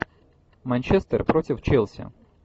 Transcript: манчестер против челси